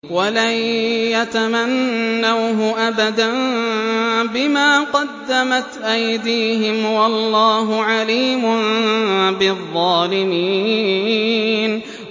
وَلَن يَتَمَنَّوْهُ أَبَدًا بِمَا قَدَّمَتْ أَيْدِيهِمْ ۗ وَاللَّهُ عَلِيمٌ بِالظَّالِمِينَ